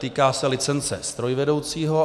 Týká se licence strojvedoucího.